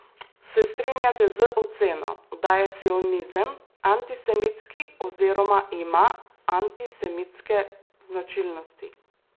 Se strinjate z oceno, da je sionizem antisemitski oziroma ima antisemitske značilnosti?